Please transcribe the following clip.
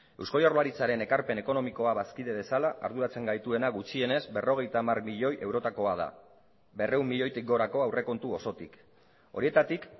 eusko jaurlaritzaren ekarpen ekonomikoa bazkide bezala arduratzen gaituena gutxienez berrogeita hamar milioi eurotakoa da berrehun milioitik gorako aurrekontu osotik horietatik